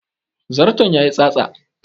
Zarton ya yi tsatsa